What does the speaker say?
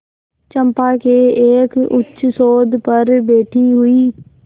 चंपा के एक उच्चसौध पर बैठी हुई